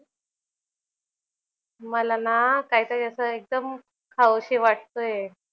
मला ना काहीतरी असं एकदम खाऊशी वाटतंय.